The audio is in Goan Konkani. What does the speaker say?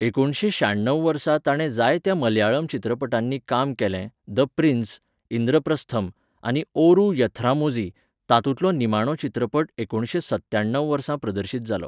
एकुणशे श्याणव वर्सा ताणें जायत्या मलयाळम चित्रपटांनी काम केलें द प्रिन्स, इंद्रप्रस्थम, आनी ओरू यथ्रामोझी, तातूंतलो निमाणो चित्रपट एकुणशे सत्याणव वर्सा प्रदर्शीत जालो.